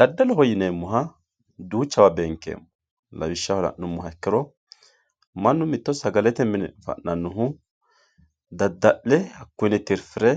Dadaloho yineemoha duuchawa beenkeemo, lawishaho la'numoha ikkiro manu mito sagalete mine fa'nanohu dada'lle hakuyinni titifire